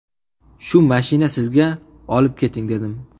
Shu mashina sizga, olib keting‘, dedim.